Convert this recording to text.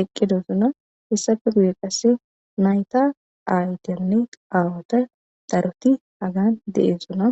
eqida heysappe nayta ayeti nne aawati daroti hagan de'osona.